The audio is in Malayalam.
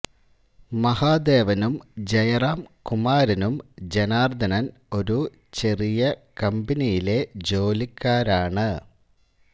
മഹാദേവനും ജയറാം കുമാരനും ജനാർദനൻ ഒരു ചെറിയ കമ്പനിയിലെ ജോലിക്കാരാണ്